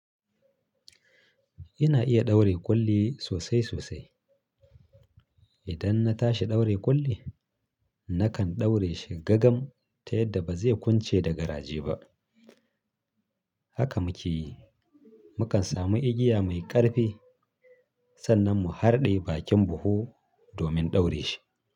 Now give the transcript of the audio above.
Ina iya ɗaure ƙulli sosai sosai. Idan na tashi ɗaure ƙulli, nakan ɗaure shi gagam ta yadda ba zai kunce da garaje ba. Haka muke yi. Mukan samu igiya mai ƙarfi sannan mu harɗe bakin buhu domin ɗaure shi.